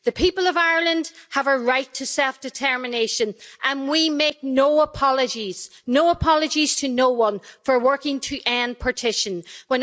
The people of Ireland have a right to self-determination, and we make no apologies no apologies to anyone for working to end the partition of Ireland.